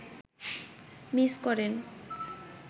miss করেন